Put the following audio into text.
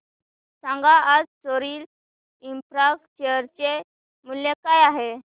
सांगा आज Sorril Infra share चे मूल्य काय आहे